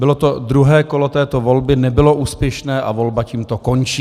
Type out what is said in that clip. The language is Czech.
Bylo to druhé kolo této volby, nebylo úspěšné a volba tímto končí.